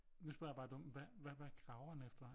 Nu spørger jeg bare dumt hva hvad graver den efter?